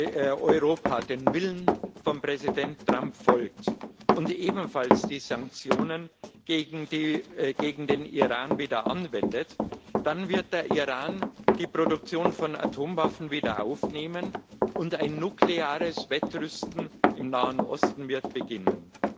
Wenn Europa dem Willen von Präsident Trump folgt und ebenfalls die Sanktionen gegen den Iran wieder anwendet, dann wird der Iran die Produktion von Atomwaffen wieder aufnehmen, und ein nukleares Wettrüsten im Nahen Osten wird beginnen.